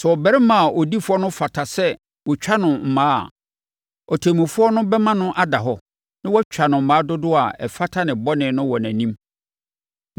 Sɛ ɔbarima a ɔdi fɔ no fata sɛ wɔtwa no mmaa a, ɔtemmufoɔ no bɛma no ada hɔ na watwa no mmaa dodoɔ a ɛfata ne bɔne no wɔ nʼanim.